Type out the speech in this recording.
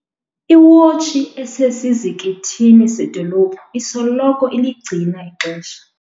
Iwotshi esesizikithini sedolophu isoloko iligcina ixesha.